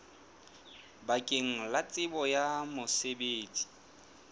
bakeng la tsebo ya mosebetsi